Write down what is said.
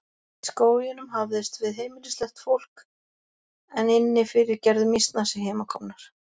Í skóginum hafðist við heimilislaust fólk en inni fyrir gerðu mýsnar sig heimakomnar.